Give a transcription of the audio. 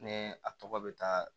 Ne a tɔgɔ bɛ taa